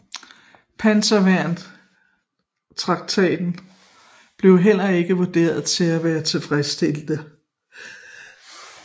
Panserværnstanketten blev heller ikke vurderet til at være tilfredsstillende